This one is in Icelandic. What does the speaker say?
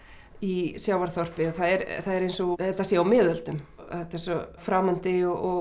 í sjávarþorpi það er eins og þetta sé á miðöldum þetta er svo framandi og